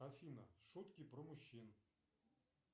афина шутки про мужчин